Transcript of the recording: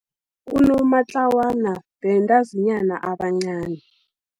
Unomatlawana, bentazinyana abancani.